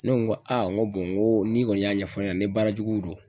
Ne ko n ko aa n ko n ko ni kɔni y'a ɲɛfɔ ne ɲɛna ni baara juguw don